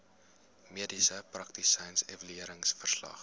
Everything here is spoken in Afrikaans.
mediese praktisyn evalueringsverslag